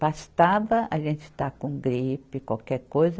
Bastava a gente estar com gripe, qualquer coisa,